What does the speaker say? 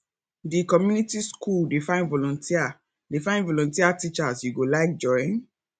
di community skool dey find volunteer dey find volunteer teachers you go like join